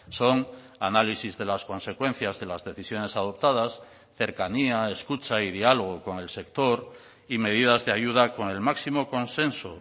son análisis de las consecuencias de las decisiones adoptadas cercanía escucha y diálogo con el sector y medidas de ayuda con el máximo consenso